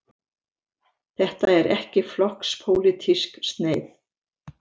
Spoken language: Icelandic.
Þetta er ekki flokkspólitísk sneið.